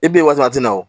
I b'i wasa a tɛ na o